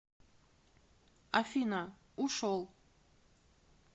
афина ушел